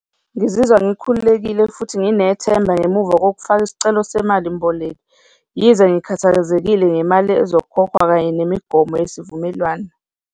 Ngizizwa ngikhululekile futhi nginethemba ngemuva kokufaka isicelo semali mboleko, yize ngikhathazekile ngemali ezokhokhwa kanye nemigomo yesivumelwano.